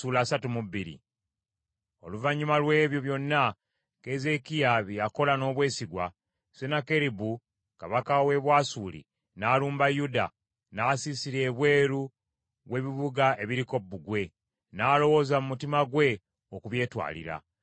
Oluvannyuma lw’ebyo byonna Keezeekiya bye yakola n’obwesigwa, Sennakeribu kabaka w’e Bwasuli n’alumba Yuda, n’asiisira ebweru w’ebibuga ebiriko bbugwe, n’alowooza mu mutima gwe okubyetwalira.